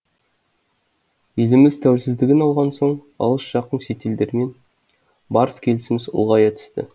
еліміз тәуелсіздігін алған соң алыс жақын шетелдермен барыс келісіміз ұлғая түсті